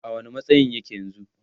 a wani matsayin yake yanzun?